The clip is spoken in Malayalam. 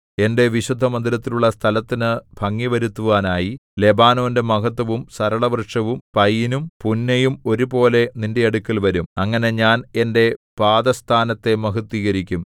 എന്റെ വിശുദ്ധമന്ദിരമുള്ള സ്ഥലത്തിനു ഭംഗിവരുത്തുവാനായി ലെബാനോന്റെ മഹത്ത്വവും സരളവൃക്ഷവും പയിനും പുന്നയും ഒരുപോലെ നിന്റെ അടുക്കൽ വരും അങ്ങനെ ഞാൻ എന്റെ പാദസ്ഥാനത്തെ മഹത്ത്വീകരിക്കും